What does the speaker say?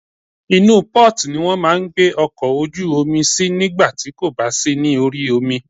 Inú port ni wọ́n máà ń gbé ọkọ̀ ojú omi sí nígbà tí kò bá sí ní orí omi.